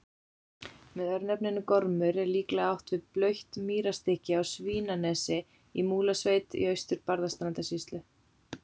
Með örnefninu Gormur er líklega átt við blautt mýrarstykki á Svínanesi í Múlasveit í Austur-Barðastrandarsýslu.